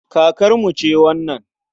Kakarmu ce wannan.